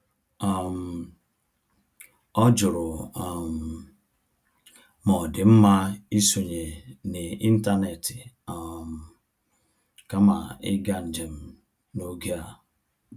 um Ọ jụrụ um ma ọ dị mma isonye n’ịntanetị um kama ịga njem n'oge a.